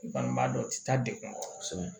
Bangebaa dɔ tɛ taa dekun kɔnɔ kosɛbɛ